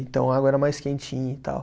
Então a água era mais quentinha e tal.